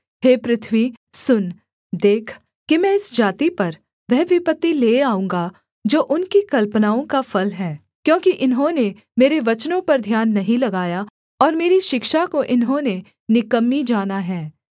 हे पृथ्वी सुन देख कि मैं इस जाति पर वह विपत्ति ले आऊँगा जो उनकी कल्पनाओं का फल है क्योंकि इन्होंने मेरे वचनों पर ध्यान नहीं लगाया और मेरी शिक्षा को इन्होंने निकम्मी जाना है